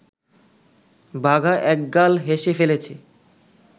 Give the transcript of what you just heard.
বাঘা একগাল হেসে ফেলেছে